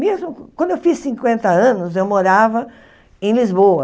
Mesmo quando eu fiz cinquenta anos, eu morava em Lisboa.